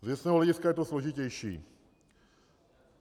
Z věcného hlediska je to složitější.